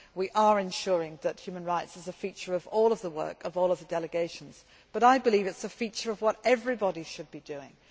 We are ensuring that human rights is a feature of all of the work of all of the delegations, but I believe it is a feature of what everybody should be doing.